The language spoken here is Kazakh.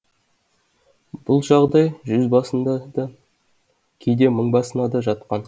бұл жағдай жүз басына да кейде мың басына да жатқан